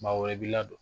Maa wɛrɛ b'i ladon